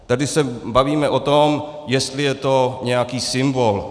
Tady se bavíme o tom, jestli je to nějaký symbol.